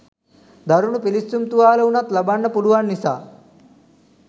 දරුණු පිළිස්සුම් තුවාල වුණත් ලබන්න පුළුවන් නිසා.